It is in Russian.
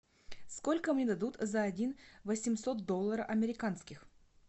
сколько мне дадут за один восемьсот доллара американских